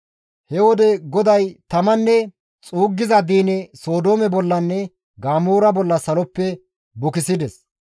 He wode GODAY tamanne xuuggiza diine Sodoome bollanne Gamoora bolla saloppe bukisides.